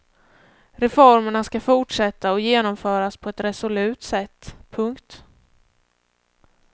Reformerna ska fortsätta och genomföras på ett resolut sätt. punkt